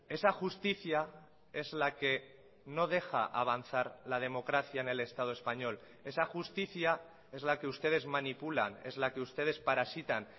esa justicia es la que no deja avanzar la democracia en el estado español esa justicia es la que ustedes manipulan es la que ustedes parasitan